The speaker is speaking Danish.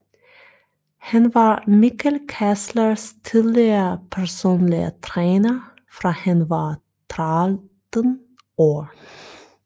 Han var Mikkel Kesslers tidligere personlige træner fra han var 13 år